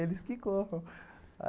Eles que corram.